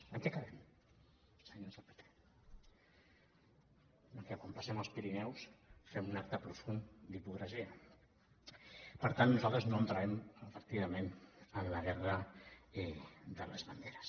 en què quedem senyors del pp que quan passem els pirineus fem un acte profund d’hipocresia per tant nosaltres no entrarem efectivament en la guerra de les banderes